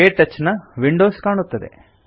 ಕೆಟಚ್ ನ ವಿಂಡೋಸ್ ಕಾಣುತ್ತದೆ